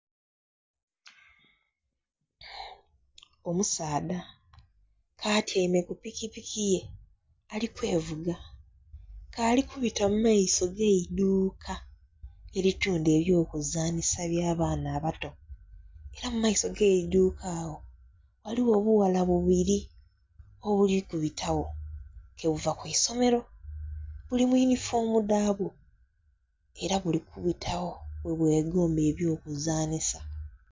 Omusaadha k'atyaime ku pikipiki ye, ali kwevuga nga ali kubita mu maiso g'eiduuka elitunda eby'okuzanhisa by'abaana abato. Ela mu maiso g'eiduuka agho ghaligho obughala bubiri obuli kubita gho, ke buva ku isomero. Buli mu yunifoomu dhabwo, era buli kubita gho, bwebwegomba eby'okuzanhisa